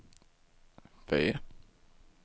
V